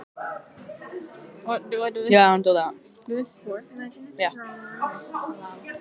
Hjörtur: Þér lýst bara vel á það?